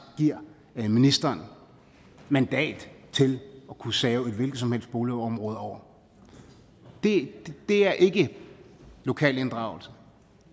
ministeren mandat til at kunne save et hvilket som helst boligområde over det er ikke lokal inddragelse